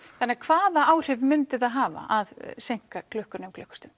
þannig hvaða áhrif myndi það hafa að seinka klukkunni um klukkustund